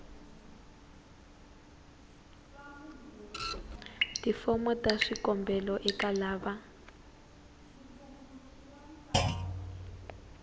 tifomo ta swikombelo eka lava